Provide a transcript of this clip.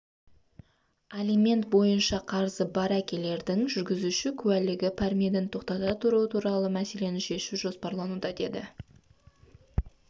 алимент бойынша қарызы бар әкелердің жүргізуші куәлігін пәрменін тоқтата тұру туралы мәселені шешу жоспарлануда деді